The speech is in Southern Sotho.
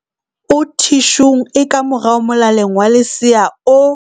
o thi shung e ka morao molaleng wa lesea o